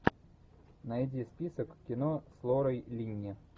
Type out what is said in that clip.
найди список кино с лорой линни